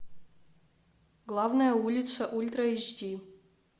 главная улица ультра эйч ди